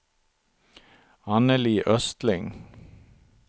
Annelie Östling